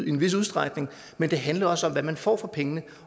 i en vis udstrækning men det handler også om hvad man får for pengene